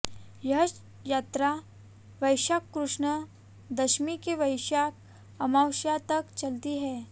यह यात्रा वैशाख कृष्ण दशमी से वैशाख अमावस्या तक चलती है